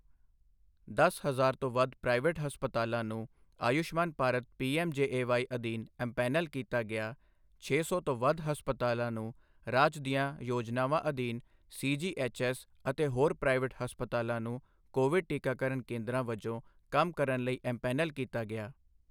ਦਸ ਹਜ਼ਾਰ ਤੋਂ ਵੱਧ ਪ੍ਰਾਈਵੇਟ ਹਸਪਤਾਲਾਂ ਨੂੰ ਆਯੁਸ਼ਮਾਨ ਭਾਰਤ ਪੀਐਮ ਜੇਏਵਾਈ ਅਧੀਨ ਐਮਪੈਨਲ ਕੀਤਾ ਗਿਆ, ਛੇ ਸੌ ਤੋਂ ਵੱਧ ਹਸਪਤਾਲਾਂ ਨੂੰ ਰਾਜ ਦੀਆਂ ਯੋਜਨਾਵਾਂ ਅਧੀਨ ਸੀਜੀਐਚਐਸ ਅਤੇ ਹੋਰ ਪ੍ਰਾਈਵੇਟ ਹਸਪਤਾਲਾਂ ਨੂੰ ਕੋਵਿਡ ਟੀਕਾਕਰਨ ਕੇਂਦਰਾਂ ਵਜੋਂ ਕੰਮ ਕਰਨ ਲਈ ਐਮਪੈਨਲ ਕੀਤਾ ਗਿਆ